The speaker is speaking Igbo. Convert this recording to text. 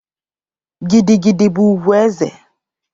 Gidi Gidi bụ ùgwù ezé.